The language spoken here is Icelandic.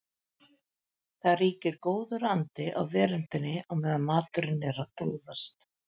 Það ríkir góður andi á veröndinni á meðan maturinn er að glóðast.